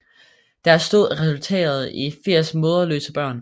Deres død resulterede i 80 moderløse børn